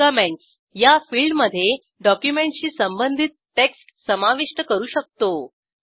comments या फिल्डमधे डॉक्युमेंटशी संबंधित टेक्स्ट समाविष्ट करू शकतो